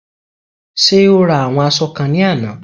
Ṣé o ra àwọn aṣọ kan ní àná?